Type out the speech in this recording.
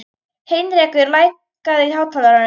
Heinrekur, lækkaðu í hátalaranum.